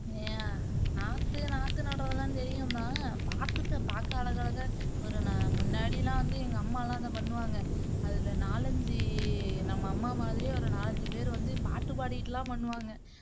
அஹ் நாத்து நாத்து நடுறதுலாம் தெரியும்தான் பாத்திருக்கேன் பாக்க அழகழகா ஒரு நமுன்னாடியெல்லாம் வந்து எங்க அம்மாலாம் அதை பண்ணுவாங்க அது நாலு ஐந்து நம்ம அம்மா மாதிரியே ஒரு நாலு ஐந்து பேருவந்து பாட்டு பாடிட்டுலாம் பண்ணுவாங்க